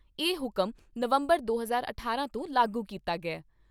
ਇਹ ਹੁਕਮ ਨਵੰਬਰ ਦੋ ਹਜ਼ਾਰ ਅਠਾਰਾਂ ਤੋਂ ਲਾਗੂ ਕੀਤੇ ਗਏ।